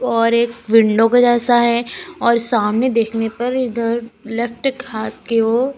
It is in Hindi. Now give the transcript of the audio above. और एक विंडो के जैसा है और सामने देखने पर इधर लेफ्ट खाथ के वो--